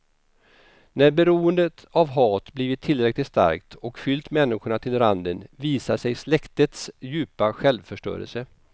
När beroendet av hat blivit tillräckligt starkt och fyllt människorna till randen visar sig släktets djupa självförstörelse.